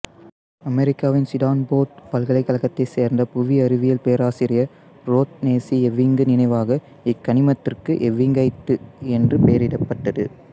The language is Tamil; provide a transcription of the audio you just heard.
அமெரிக்காவின் சிடான்போர்டு பல்கலைக்கழகத்தைச் சேர்ந்த புவி அறிவியல் பேராசிரியர் உரோத்னெ சி எவிங்கு நினைவாக இக்கனிமத்திற்கு எவிங்கைட்டு என்று பெயரிடப்பட்டது